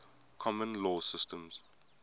common law systems